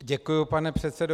Děkuji, pane předsedo.